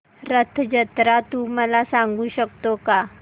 रथ जत्रा तू मला सांगू शकतो का